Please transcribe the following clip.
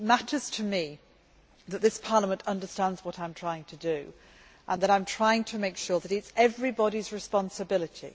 It matters to me, however, that this Parliament understands what I am trying to do and that I am trying to make sure that it is everybody's responsibility.